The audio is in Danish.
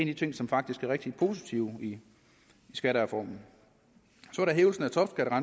de ting som faktisk er rigtig positive i skattereformen så er